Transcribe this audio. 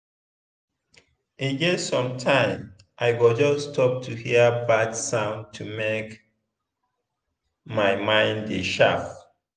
e get sometime i go just stop to hear bird sound to make my mind dey sharp.